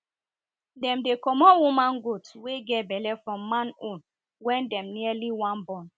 them dey comot woman goat wey get belle from man own when dem nearly wan born